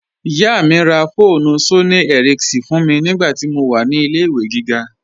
Iyá mi rá fóònù Sónìì Éríkínsọn fún mi nigbàtí mó wà ní ilẹ̀-ìwé gígá.